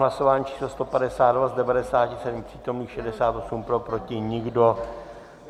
Hlasování číslo 152, z 97 přítomných 68 pro, proti nikdo.